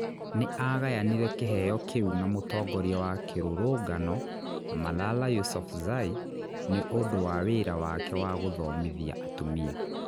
Nĩ aagayanire kĩheo kĩu na mũtongoria wa kĩrũrũngano Malala Yousafzai nĩ ũndũ wa wĩra wake wa gũthomithia atumia.